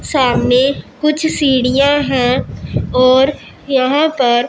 सामने कुछ सीढ़ियां है और यहां पर--